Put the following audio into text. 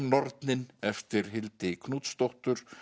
nornin eftir Hildi Knútsdóttur